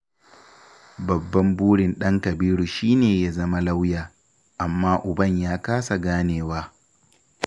Babban burin ɗan Kabiru shi ne ya zama lauya, amma uban ya kasa ganewa.